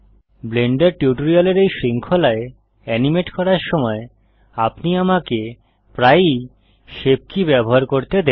Blender টিউটোরিয়ালের এই শৃঙ্খলায় এনিমেট করার সময় আপনি আমাকে প্রায়ই শেপ কী ব্যবহার করতে দেখবেন